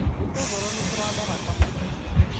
gĩtũngũrũ nĩkĩrandaraka maitho